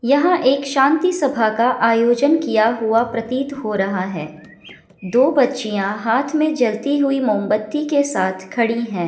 यहाँ एक शांति सभा का आयोजन किया हुआ प्रतीत हो रहा है दो बच्चियां हाथ मे जलती हुई मोमबत्ती के साथ खड़ी है।